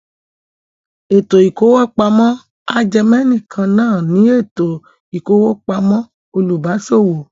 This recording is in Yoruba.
Ètò ìkówópamọ́ ajẹmẹ̀nìkan náà ní ètò ìkówópamọ́ olùbáṣòwò.